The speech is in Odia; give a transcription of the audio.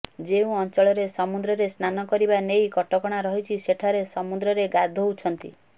ଯେଉଁ ଅଞ୍ଚଳରେ ସମୁଦ୍ରରେ ସ୍ନାନ କରିବା ନେଇ କଟକଣା ରହିଛି ସେଠାରେ ସମୁଦ୍ରରେ ଗାଧୋଉଛନ୍ତି